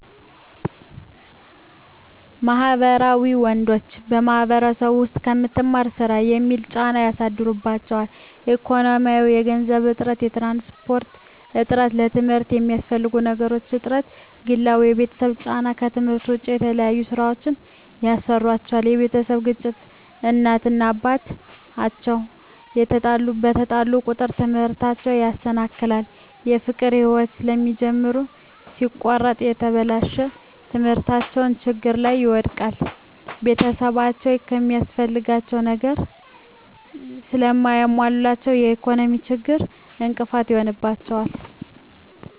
ማህበራዊ ወንዶች በማህበረሰቡ ዉስጥ ከምትማር ስራ የሚል ጫና ያሳድሩባቸዋል። ኢኮኖሚያዊ የገንዘብ እጥረት፣ የትራንስፖርት እጥረት፣ ለትምርት የሚያስፈልጉ ነገሮች እጥረት፣ ግላዊ የቤተሰብ ጫና ከትምህርት ዉጭ የተለያዩ ስራወችን ያሰሩአቸዋል የቤተሰብ ግጭት እናት እና አባት አቸዉ በተጣሉ ቁጥር ትምህርታቸዉን ያሰናክላል። የፍቅር ህይወት ስለሚጀምሩ ሲቆረጥ የተበላሸ ትምህርታቸዉን ችግር ላይ ይወድቃል። ቤተሰብአቸዉ የሚያስፈልጋቸዉን ነገር ስለማያሞሉላቸዉ በኢኮኖሚ ችግር እንቅፋት ይሆንባቸዋል።